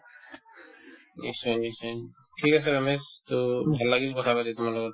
নিশ্চয় নিশ্চয় ঠিক আছে ৰমেশ to ভাল লাগিল কথাপাতি তোমাৰ লগত